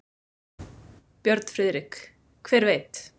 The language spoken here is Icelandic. Björn Friðrik: Hver veit.